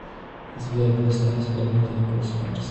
сбер поставь исполнителя космарс